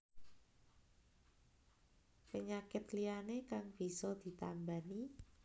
Penyakit liyané kang bisa ditambani